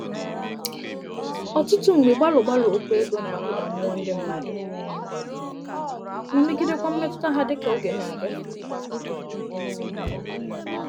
Ọtụtụ mgbe gbalụ-gbalụ okwu ego na-akụda mmuọ ndị mmadụ ma megidekwa mmetụta ha dịka oge na-aga.